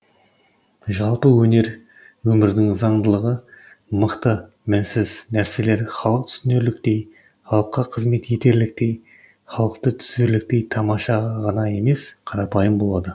жалпы өнер өмірдің заңдылығы мықты мінсіз нәрселер халық түсінерліктей халыққа қызмет етерліктей халықты түзерліктей тамаша ғана емес қарапайым болады